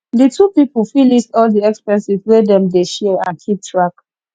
di two pipo fit list all di expenses wey dem dey share and keep track